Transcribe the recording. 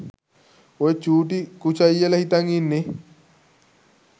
ඔය චූටි කුචය්යල හිතන් ඉන්නෙ